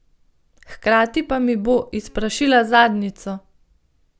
Hkrati pa mi bo izprašila zadnjico.